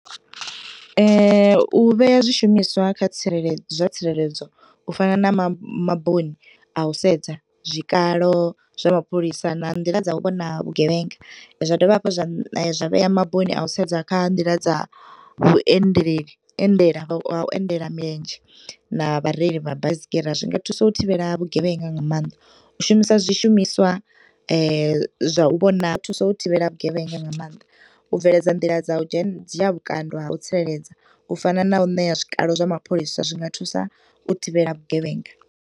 U vhea zwishumiswa kha tsireledzo, zwa tsireledzo u fana na ma, maboni a u sedza zwikalo zwa mapholisa na nḓila dza u vhona vhugevhenga. Zwa dovha hafhu zwa vhea magoni a u sedza kha nḓila dza vhuendeleli, endela, ha u endela milenzhe na vhareili vha baisigira, zwinga thusa u thivhela vhugevhenga nga maanḓa, u shumisa zwishumiswa zwa u vhona thuso u thivhela vhugevhenga nga maanḓa u bveledza nḓila dza u dzhe, dzhia vhukando ha u tsireledza. U fana na u ṋea zwikalo zwa mapholisa, zwi nga thusa u thivhela vhugevhenga.